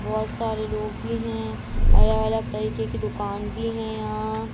बहुत सारे लोग भी है अलग-अलग तरीके की दुकान भी है यहाँ।